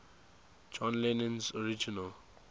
john lennon's original